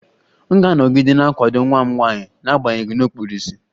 M ga-anọgide na-akwado nwa m nwanyị n'agbanyeghị na ọ kpuru ìsì